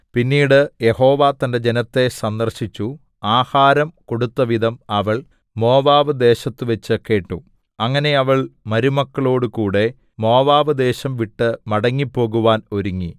പിന്നീട് യഹോവ തന്റെ ജനത്തെ സന്ദർശിച്ചു ആഹാരം കൊടുത്തവിധം അവൾ മോവാബ്‌ദേശത്തുവെച്ചു കേട്ടു അങ്ങനെ അവൾ മരുമക്കളോടുകൂടെ മോവാബ്‌ദേശം വിട്ടു മടങ്ങിപ്പോകുവാൻ ഒരുങ്ങി